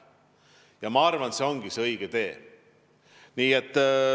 Ja ma arvan, et see on õige tee.